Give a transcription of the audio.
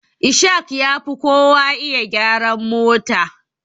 Ishaq yafi kowa iya gyaran mota.